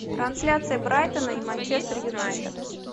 трансляция брайтона и манчестер юнайтед